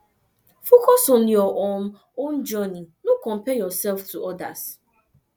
focus on your um own journey no compare yourself to others